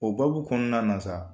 O babu kɔnɔna la sa